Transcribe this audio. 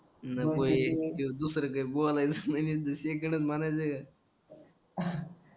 दुसरं काय बोलायलाच एक दिवशी इकडचं म्हणायच